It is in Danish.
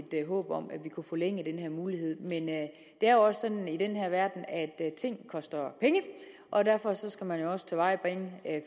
et håb om at vi kunne forlænge den her mulighed men det er også sådan i den her verden at ting koster penge og derfor skal man også tilvejebringe